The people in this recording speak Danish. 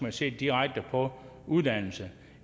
at se direkte på uddannelse